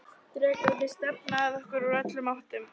Drekarnir stefna að okkur úr öllum áttum.